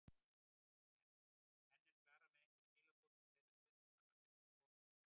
En er Klara með einhver skilaboð til þeirra stuðningsmanna sem eru að koma frá Íslandi?